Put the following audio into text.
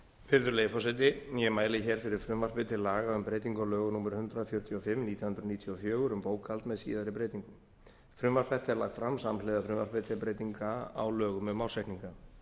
virðulegi forseti ég mæli hér fyrir frumvarpi til laga um breytingu á lögum númer hundrað fjörutíu og fimm nítján hundruð níutíu og fjögur um bókhald með síðari breytingum frumvarp þetta er lagt fram samhliða frumvarpi til breytinga á lögum um ársreikninga